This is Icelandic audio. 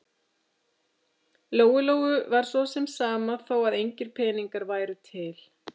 Lóu-Lóu var svo sem sama þó að engir peningar væru til.